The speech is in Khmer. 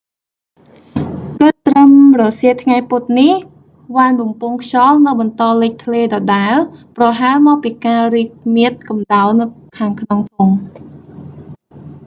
គិតត្រឹមរសៀលថ្ងៃពុធនេះ វ៉ានបំពង់ខ្យល់នៅបន្តលេចធ្លាយដដែល ប្រហែលមកពីការរីកមាឌកម្តៅនៅខាងក្នុងធុង